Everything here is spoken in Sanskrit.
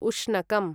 उष्णकम्